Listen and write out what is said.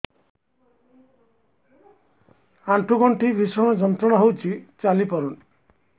ଆଣ୍ଠୁ ଗଣ୍ଠି ଭିଷଣ ଯନ୍ତ୍ରଣା ହଉଛି ଚାଲି ପାରୁନି